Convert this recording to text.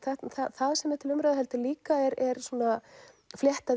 það sem er til umræðu heldur líka er svona